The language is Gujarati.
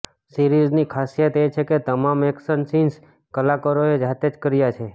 સિરીઝની ખાસીયત એ છે કે તમામ એકશન સિન્સ કલાકારોએ જાતે જ કર્યા છે